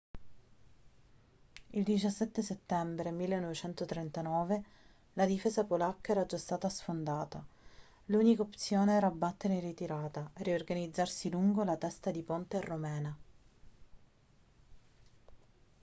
il 17 settembre 1939 la difesa polacca era già stata sfondata l'unica opzione era battere in ritirata e riorganizzarsi lungo la testa di ponte romena